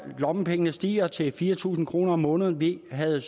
lommepengene stiger til fire tusind kroner om måneden vi havde